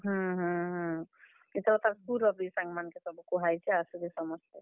ହୁଁ ହୁଁ ହୁଁ, ଇଥର ତାର୍ school ର ବି ସାଙ୍ଗ ମାନଙ୍କୁ ସବୁ କୁହାହେଇଛେ ଆସବେ ସମସ୍ତେ।